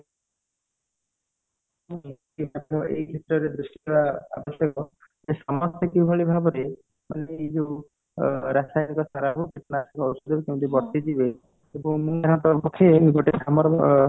ସମସ୍ତେ କିଭଳି ଭାବରେ ମାନେ ଏଇ ଯୋଉ ରାସାୟନିଉକ ସାରରୁ କେମିତି ବର୍ତ୍ତୀ ଯିବେ